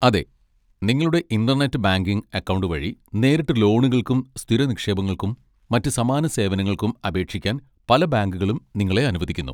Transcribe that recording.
അതെ, നിങ്ങളുടെ internet banking account വഴി നേരിട്ട് ലോണുകൾക്കും സ്ഥിര നിക്ഷേപങ്ങൾക്കും മറ്റ് സമാന സേവനങ്ങൾക്കും അപേക്ഷിക്കാൻ പല ബാങ്കുകളും നിങ്ങളെ അനുവദിക്കുന്നു.